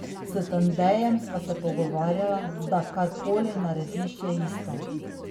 S Tandejem sva se pogovarjala, da kar koli narediš, je isto.